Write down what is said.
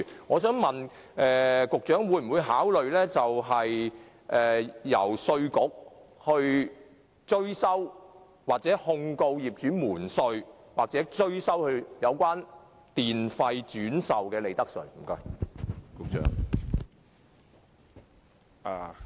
我想問，局長會否考慮由稅務局控告業主瞞稅或向業主追收轉售電力的利得稅？